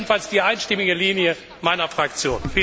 Das ist jedenfalls die einstimmige Linie meiner Fraktion.